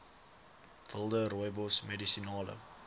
wilde rooibos medisinale